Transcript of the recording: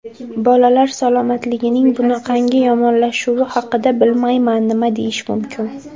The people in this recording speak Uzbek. Bolalar salomatligining bunaqangi yomonlashuvi haqida, bilmayman, nima deyish mumkin.